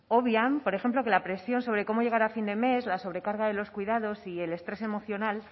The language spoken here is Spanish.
obvian por ejemplo que la presión sobre cómo llegar a fin de mes la sobrecarga de los cuidados y el estrés emocional